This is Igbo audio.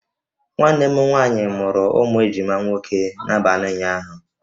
Nwanne m nwaanyị mụrụ ụmụ ejima nwoke n'abalị ụnyaahụ